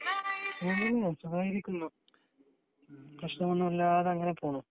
സുഖായിരിക്കുന്നു പ്രശ്നമൊന്നും ഇല്ലാതെ അങ്ങനെ പോകുന്നു